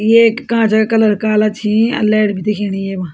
येक कांचा कलर काला छी अर लाइट भी दिखेणी येमा।